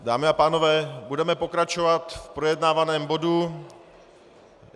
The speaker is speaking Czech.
Dámy a pánové, budeme pokračovat v projednávaném bodu.